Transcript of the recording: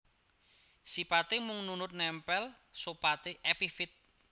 Sipaté mung nunut nèmpèl sopate epifit